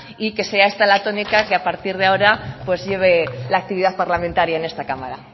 y que sea esta la tónica que a partir de ahora pues lleve la actividad parlamentaria en esta cámara